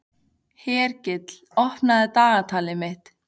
Hergill, opnaðu dagatalið mitt.